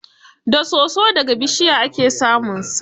Da soso da ga bishiya ake samunsa.